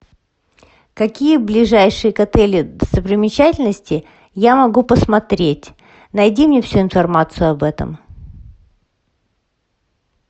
какие ближайшие к отелю достопримечательности я могу посмотреть найди мне всю информацию об этом